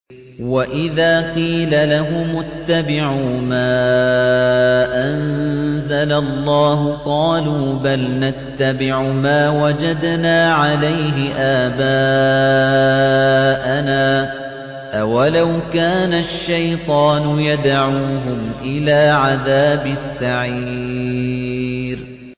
وَإِذَا قِيلَ لَهُمُ اتَّبِعُوا مَا أَنزَلَ اللَّهُ قَالُوا بَلْ نَتَّبِعُ مَا وَجَدْنَا عَلَيْهِ آبَاءَنَا ۚ أَوَلَوْ كَانَ الشَّيْطَانُ يَدْعُوهُمْ إِلَىٰ عَذَابِ السَّعِيرِ